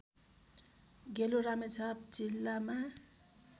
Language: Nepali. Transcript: गेलु रामेछाप जिल्लामा